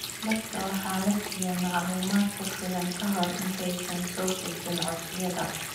Dadka waxaa la siiyaa macluumaad ku filan ka hor intaysan soo gudbin codsiyada.